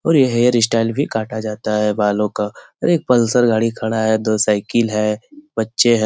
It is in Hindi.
और ये हेयर स्टाइल भी काटा जाता है बालों का और एक पल्सर गाड़ी खड़ा है दो साइकिल है बच्चे है।